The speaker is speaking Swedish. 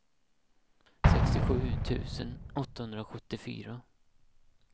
sextiosju tusen åttahundrasjuttiofyra